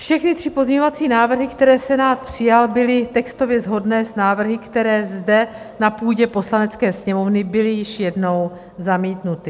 Všechny tři pozměňovací návrhy, které Senát přijal, byly textově shodné s návrhy, které zde na půdě Poslanecké sněmovny byly již jednou zamítnuty.